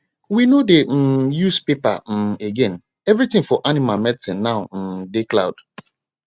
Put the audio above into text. we no dey um use paper um again everything for animal medicine now um dey cloud